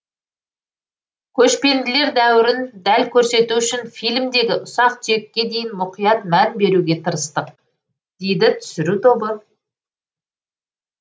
көшпенділер дәуірін дәл көрсету үшін фильмдегі ұсақ түйекке дейін мұқият мән беруге тырыстық дейді түсіру тобы